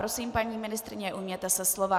Prosím, paní ministryně, ujměte se slova.